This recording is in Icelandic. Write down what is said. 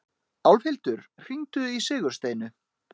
Álfhildur, hringdu í Sigursteinu.